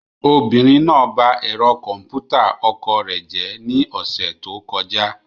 Obìnrin náà ba ẹ̀rọ kọ̀m̀pútà ọkọ rẹ̀ jẹ́ ní ọ̀sẹ̀ tó kọjá.